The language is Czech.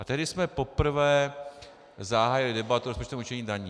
A tehdy jsme poprvé zahájili debatu o rozpočtovém určení daní.